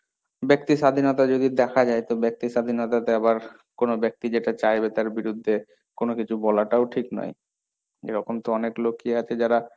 ব্যক্তি স্বাধীনতা যদি দেখা যায় তো ব্যক্তি স্বাধীনতাতে আবার কোন ব্যক্তি যেটা চাইবে তার বিরুদ্ধে কোন কিছু বলাটাও ঠিক নই, এরকম তো অনেক লোকই আছে যারা,